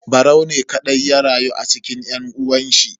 Barau ne kadai ya rayu a cikin yan uwanshi.